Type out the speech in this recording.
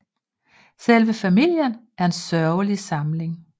Selve famillien er en sørgelig samling